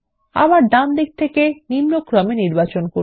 আবার ডান দিক থেকে ডিসেন্ডিং নির্বাচন করুন